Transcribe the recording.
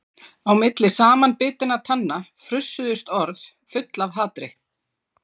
Á milli samanbitinna tanna frussuðust orð full af hatri.